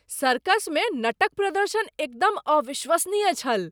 सर्कसमे नट क प्रदर्शन एकदम अविश्वसनीय छल !